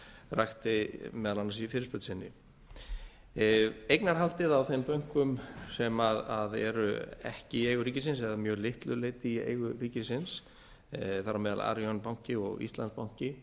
rakti meðal annars í fyrirspurn sinni eignarhaldið á þeim bönkum sem eru ekki í eigu ríkisins eða að mjög litlu leyti í eigu ríkisins þar á meðal arionbanki og íslandsbanki